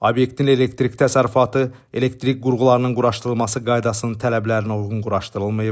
Obyektin elektrik təsərrüfatı, elektrik qurğularının quraşdırılması qaydasının tələblərinə uyğun quraşdırılmayıb.